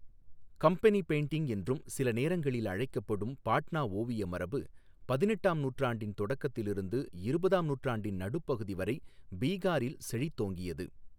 Company painting' என்றும் சில நேரங்களில் அழைக்கப்படும் பாட்னா ஓவிய மரபு பதினெட்டாம் நூற்றாண்டின் தொடக்கத்திலிருந்து இருபதாம் நூற்றாண்டின் நடுப்பகுதி வரை பீகாரில் செழித்தோங்கியது.